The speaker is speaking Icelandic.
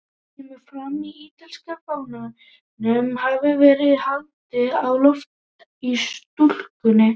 Þar kemur fram að ítalska fánanum hafi verið haldið á lofti í stúkunni.